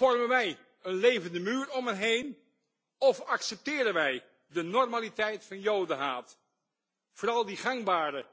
Vormen wij een levende muur om hen heen of accepteren wij de normaliteit van Jodenhaat, vooral dan die gangbare